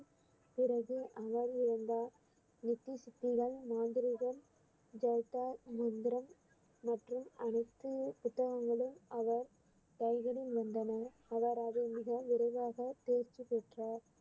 பிறகு அவர் இறந்தார் நெத்தி சுத்திகள் மாந்திரீகம் மந்திரம் மற்றும் அனைத்து புத்தகங்களும் அவர் கைகளில் வந்தன அவர் அதை மிக விரைவாக தேர்ச்சி பெற்றார்